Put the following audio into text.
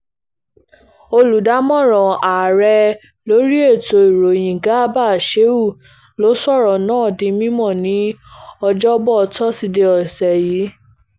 olùdámọ̀ràn ààrẹ lórí ètò ìròyìn garba sheu ló sọ̀rọ̀ náà di mímọ́ ní ọjọ́bọ tọ́sídẹ̀ẹ́ ọ̀sẹ̀ yìí